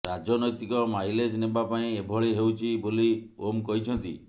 ରାଜନୈତିକ ମାଇଲେଜ୍ ନେବା ପାଇଁ ଏଭଳି ହେଉଛି ବୋଲି ଓମ୍ କହିଛନ୍ତି